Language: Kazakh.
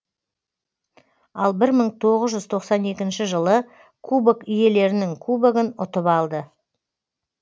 албірмың тоғыз жүз тоқсан екінші жылы кубок иелерінің кубогын ұтып алды